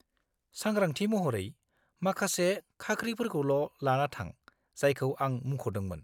-सांग्रांथि महरै, माखासे खाख्रिफोरखौल' लाना थां जायखौ आं मुंख'दोंमोन।